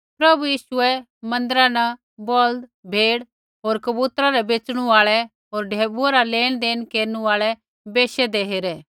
प्रभु यीशुऐ मन्दिरा न बौल्द भेड़ होर कबूतरा रै बेच़णू आल़ै होर ढैबुऐ रा लेनदेण केरनु आल़ै बैशु हौन्दे हेरे